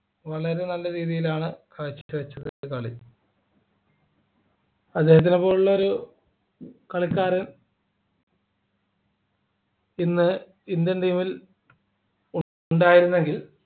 വളരെ നല്ല രീതിയിലാണ് കാഴ്ചവച്ചത് കളി അദ്ദേഹത്തിനെ പോലുള്ള ഒരു കളിക്കാരൻ ഇന്ന് Indian team ൽ ഉണ്ടായിരുന്നെങ്കിൽ